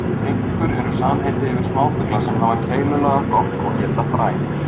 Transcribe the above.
Finkur eru samheiti yfir smáfugla sem hafa keilulaga gogg og éta fræ.